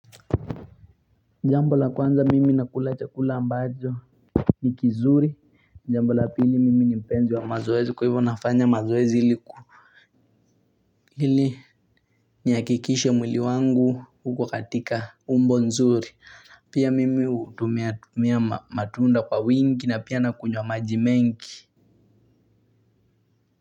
Jambo la kwanza mimi nakula chakula ambacho ni kizuri. Jambo la pili mimi ni mpenzi wa mazoezi kwa hivyo nafanya mazoezi hili ku hili nihakikishe mwili wangu huko katika umbo nzuri. Pia mimi hutumia matunda kwa wingi na pia nakunywa maji mengi.